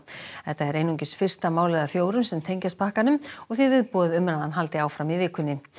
þetta er einungis fyrsta málið af fjórum sem tengjast pakkanum og því viðbúið að umræðan haldi áfram í vikunni